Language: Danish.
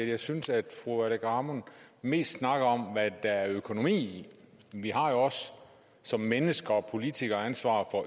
jeg synes at fru aleqa hammond mest snakker om hvad der er økonomi i vi har jo også som mennesker og politikere ansvaret for